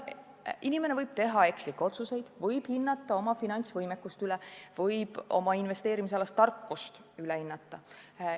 Inimene võib teha ekslikke otsuseid, võib oma finantsvõimekust üle hinnata, võib oma investeerimistarkust üle hinnata.